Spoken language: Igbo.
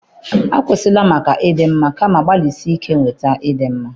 Akwụsịla maka ịdị mma, kama gbalịsie ike nweta ịdị mma